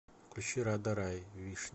включи рада рай вишня